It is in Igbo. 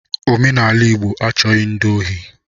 Omenala Igbo achọghi ndi ohi